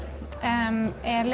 er